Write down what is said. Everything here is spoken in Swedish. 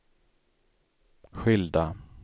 skilda